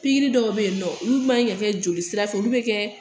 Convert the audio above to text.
Pigiri dɔw be yen nɔ olu man ka kɛ jolisira fɛ olu be kɛ